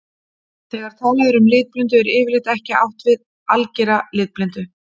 Þegar talað er um litblindu er yfirleitt ekki átt við að algera litblindu.